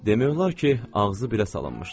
Demək olar ki, ağzı belə salınmışdı.